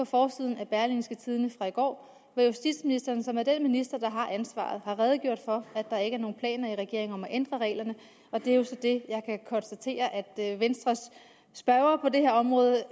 forsiden af berlingske tidende i går hvor justitsministeren som er den minister der har ansvaret har redegjort for at der ikke er nogen planer i regeringen om at ændre reglerne og det er jo så det jeg kan konstatere at venstres spørger på det her område